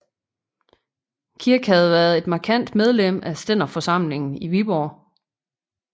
Kirk havde været et markant medlem af stænderforsamlingen i Viborg